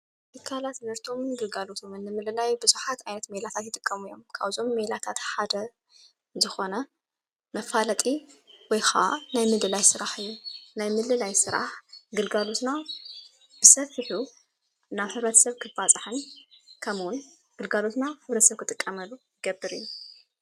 ትካላት ምህርቶምን ግልጋሎቶምን ንምልላይ ብዙሓት ዓይነት ሜላታት ይጥቀሙ እዮም። ካብዞም ሜላታት ሓደ ዝኾነ መፋለጢ ወይኸዓ ናይ ምልላይ ሥራሕ እዩ። ናይ ምልላይ ሥራሕ ግልጋሉትና ብሰፊሑ ናብ ሕብረተሰብ ክባፃሕን ከምኡውን ግልጋሎትና ሕብረተሰብ ክጥቀመሉ ዝገብር እዩ።